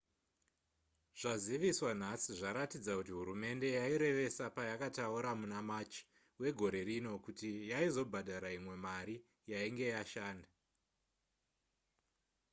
zvaziviswa nhasi zvaratidza kuti hurumende yairevesa payakataura muna march wegore rino kuti yaizobhadhara imwe mari yainge yashanda